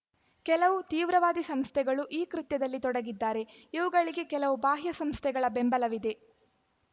ಕೆಲವು ತೀವ್ರವಾದಿ ಸಂಸ್ಥೆಗಳು ಈ ಕೃತ್ಯದಲ್ಲಿ ತೊಡಗಿದ್ದಾರೆ ಇವುಗಳಿಗೆ ಕೆಲವು ಬಾಹ್ಯ ಸಂಸ್ಥೆಗಳ ಬೆಂಬಲವಿದೆ